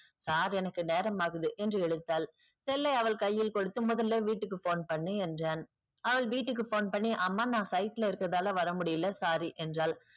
sir எனக்கு நேரம் ஆகுது என்று இழுத்தால் cell ஐ அவள் கையில் குடுத்து முதல்ல வீட்டுக்கு phone பண்ணு என்றான். அவள் வீட்டுக்கு phone பண்ணி அம்மா நா site ல இருக்கதுனால வர முடில sorry என்றால்.